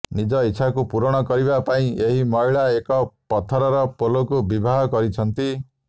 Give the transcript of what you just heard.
ନିଜ ଇଚ୍ଛାକୁ ପୂରଣ କରିବା ପାଇଁ ଏହି ମହିଳା ଏକ ପଥରର ପୋଲକୁ ବିବାହ କରିଛନ୍ତି